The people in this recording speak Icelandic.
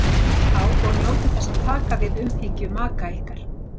Slakið á og njótið þess að taka við umhyggju maka ykkar.